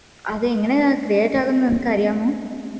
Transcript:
അത് എങ്ങനെയാ create ആവുന്നേ നിനക്കു അറിയാമോ